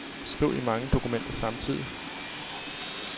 Skriv i mange dokumenter samtidig.